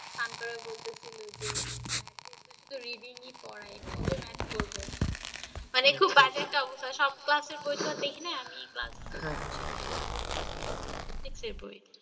fun করে বলতেছিল যে math এ তো শুধু reading ই পড়ায় কবে math করব। মানে খুব বাজে একটা অবস্থা। সব class এর বই তো দেখিনা আমি class nine এর বই দেখছি আর six এর বই।